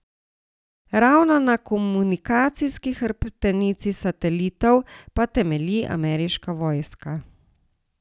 Ravno na komunikacijski hrbtenici satelitov pa temelji ameriška vojska.